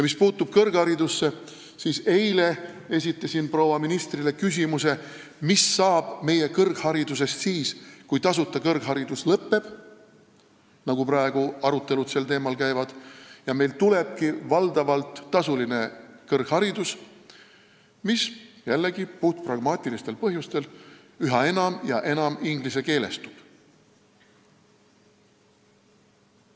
Mis puutub kõrgharidusse, siis eile ma esitasin proua ministrile küsimuse, mis saab meie kõrgharidusest siis, kui tasuta kõrgharidus kaob ära – praegu arutelud sel teemal käivad – ja meil tulebki valdavalt tasuline kõrgharidus, mis jällegi puhtpragmaatilistel põhjustel üha enam inglisekeelestub.